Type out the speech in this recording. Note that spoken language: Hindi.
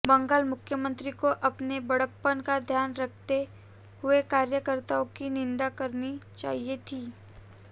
बंगाल मुख्यमंत्री को अपने बड़प्पन का ध्यान रखते हुए कार्यकर्ताओं की निंदा करनी चाहिए थी